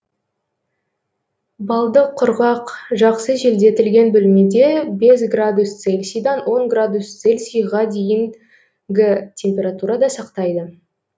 балды құрғақ жақсы желдетілген бөлмеде бес градус цельсиядан он градус цельсияға дейін г температурада сақтайды